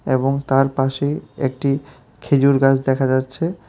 এবং তার পাশে একটি খেজুর গাছ দেখা যাচ্ছে।